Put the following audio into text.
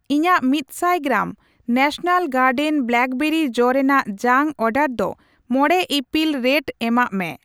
ᱤᱧᱟᱜ ᱢᱤᱫᱥᱟᱭ ᱜᱨᱟᱢ, ᱱᱮᱥᱚᱱᱟᱞ ᱜᱟᱨᱰᱮᱱ ᱵᱞᱟᱠᱵᱮᱨᱤ ᱡᱚ ᱨᱮᱱᱟᱜ ᱡᱟᱝ ᱚᱰᱟᱨ ᱫᱚ ᱢᱚᱲᱮ ᱤᱯᱤᱞ ᱨᱮᱴ ᱮᱢᱟᱜ ᱢᱮ ᱾